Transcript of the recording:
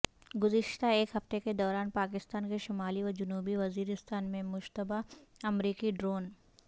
گزشتہ ایک ہفتے کے دوران پاکستان کے شمالی و جنوبی وزیرستان میں مشتبہ امریکی ڈرون